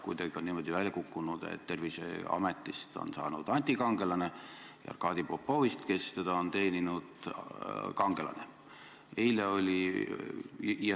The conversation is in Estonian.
Kuidagi on niimoodi välja kukkunud, et Terviseametist on saanud antikangelane ja Arkadi Popovist, kes teda on teeninud, kangelane.